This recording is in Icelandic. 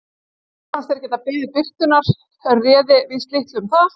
Mér fannst þeir geta beðið birtunnar en réði víst litlu um það.